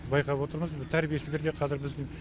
байқап отырмыз бұл тәрбиешілер де қазір бізбен